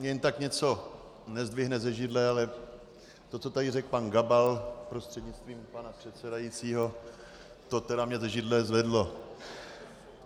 Mě jen tak něco nezdvihne ze židle, ale to, co tady řekl pan Gabal, prostřednictvím pana předsedajícího, to tedy mě ze židle zvedlo.